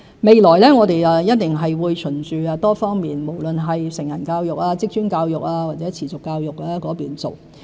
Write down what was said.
未來我們一定會循多方面，無論是成人教育、職專教育或持續教育去做。